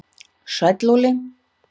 Sæll Óli